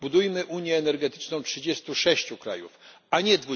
Budujmy Unię energetyczną 36 krajów, a nie